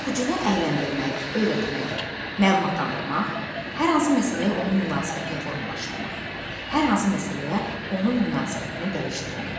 Oxucunu əyləndirmək, öyrətmək, məlumatlandırmaq, hər hansı məsələyə onun münasibətini formalaşdırmaq, hər hansı məsələyə onun münasibətini dəyişdirmək.